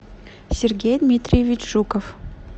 сергей дмитриевич жуков